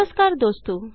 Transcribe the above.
नमस्कार दोस्तों